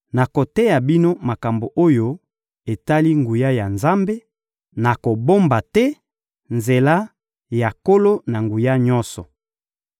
Nakoteya bino makambo oyo etali nguya ya Nzambe, nakobomba te nzela ya Nkolo-Na-Nguya-Nyonso.